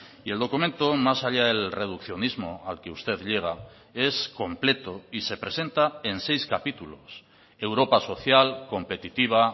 y el documento más allá del reduccionismo al que usted llega es completo y se presenta en seis capítulos europa social competitiva